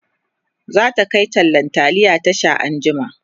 zata Kai tallan taliya Tasha anjima